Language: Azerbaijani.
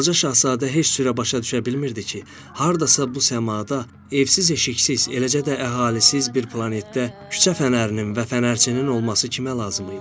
Balaca şahzadə heç cürə başa düşə bilmirdi ki, hardasa bu səmada, evsiz eşiksiz, eləcə də əhalisiz bir planetdə küçə fənərinin və fənərçinin olması kimə lazım idi.